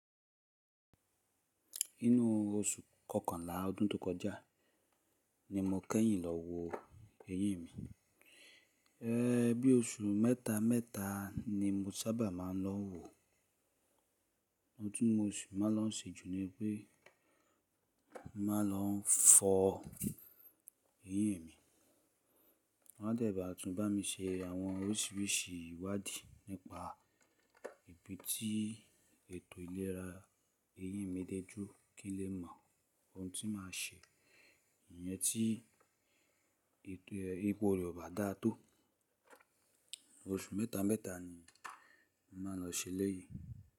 Inú oṣù kọkànlá ọdún tó kọjá ni mo kẹ́yìn lọ wo eyín mi. Ẹ́ bí i oṣù mẹ́ta mẹ́ta ni mo sábà máa ń lọ wo. Ọhun ti si màá lọ ṣe jù ni pé màá lọ fọ eyín mi. Wan de baa tún bá mi se àwọn oríṣiríṣi ìwádìí nípa ibi tí ètò ìlera eyín mi dé jù kí n lè mọ ohun tí màá ṣe. Ìyẹn tí ipò rẹ̀ ò bá dàá tò. Oṣù mẹ́ta mẹ́ta ni màá lọ ṣe eleyii.